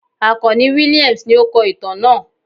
Akanni Williams ni o kọ itan naa